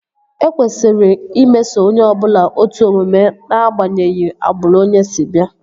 E kwesịrị imeso onye ọbụla otu omume ná-agbanyeghi agbụrụ onye si bịa